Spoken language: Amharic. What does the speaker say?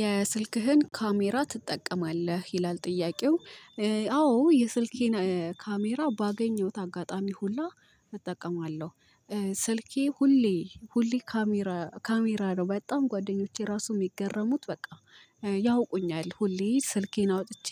የስልክህን ካሜራ ትጠቀማለህ ይላል ጥያቄው? አዎ የስልኬን ካሜራ ባገኘሁት አጋጣሚ ሁላ እጠቀማለሁ። ስልኬ ሁሌ ሁሌ ካሜራ ነው በጣም ጓደኞቼ ራሱ የሚገረሙት በቃ ያውቁኛል ሁሌ ስልኬን አውጥቼ